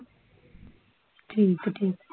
ਠੀਕ ਠੀਕ